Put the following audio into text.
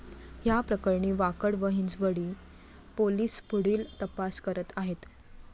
या प्रकरणी वाकड व हिंजवडी पोलीस पुढील तपास करत आहेत.